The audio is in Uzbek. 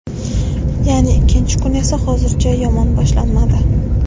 ya’ni ikkinchi kun esa hozircha yomon boshlanmadi.